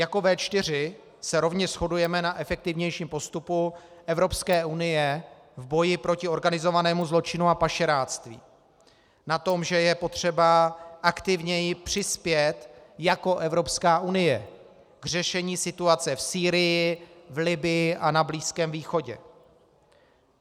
Jako V4 se rovněž shodujeme na efektivnějším postupu Evropské unie v boji proti organizovanému zločinu a pašeráctví, na tom, že je potřeba aktivněji přispět jako Evropská unie k řešení situace v Sýrii, v Libyi a na Blízkém východě.